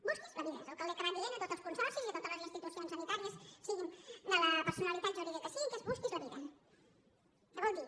busquin se la vida és el que ha acabat dient a tots els consorcis i a totes les institucions sanitàries siguin de la personalitat jurídica que siguin busquin se la vida que vol dir